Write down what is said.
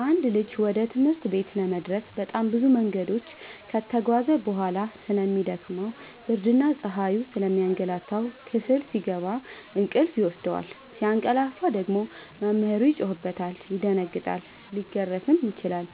አንድ ልጅ ወደ ትምህርት ቤት ለመድረስ በጣም ብዙ መንገድ ከተጓዘ በጣም ስለሚ ደክመው ብርድና ፀሀዩ ስለሚያገላታው። ክፍል ሲገባ እንቅልፍ ይወስደዋል። ሲያቀላፍ ደግሞ መምህሩ ይጮህበታል ይደነግጣል ሊገረፍም ይችላል